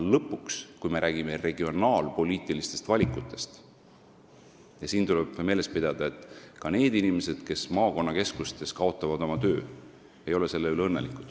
Lõpuks, kui me räägime regionaalpoliitilistest valikutest, siis tuleb meeles pidada, et ka need inimesed, kes maakonnakeskustes oma töö kaotavad, ei ole selle üle õnnelikud.